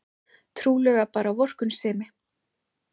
Trúlega bara vorkunnsemi.